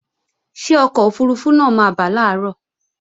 Ṣé ọkọ̀ òfurufú náà máa bà làárọ̀